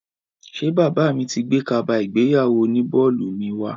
Ṣé bàbá mi ti gbé kaba ìgbéyàwó oní bọ́ọ̀lù mi wá?